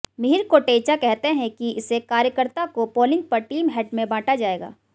मिहिर कोटेचा कहते हैं कि इसे कार्यकर्ता को पोलिंग पर टीम हेड में बांटा जाएगा